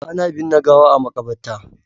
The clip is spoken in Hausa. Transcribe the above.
Ana binne gawa a Makabarta.